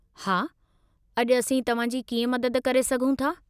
हा, अॼु असीं तव्हां जी कीअं मदद करे सघूं था?